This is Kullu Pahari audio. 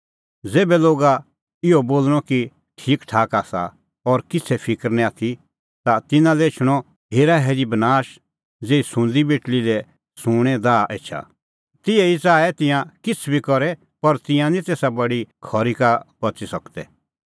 ज़ेभै लोगा इहअ बोल़णअ ठीकठाक आसा और किछ़ै फिकर निं आथी ता तिन्नां लै एछणअ हेराहेरी बनाश ज़ेही सुंदी बेटल़ी लै सूंणें दाह एछा तिहै ई च़ाऐ तिंयां किछ़ बी करे पर तिंयां निं तेसा बडी खरी का बच़ी सकदै